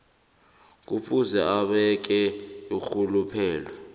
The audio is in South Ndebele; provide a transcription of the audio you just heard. kufuze abeke irhuluphelo